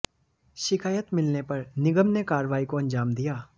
शिकायत मिलने पर निगम ने कार्रवाई को अंजाम दिया